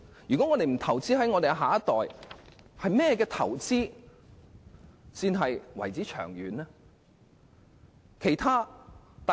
我們若不投資於我們的下一代，甚麼投資才算是長遠投資？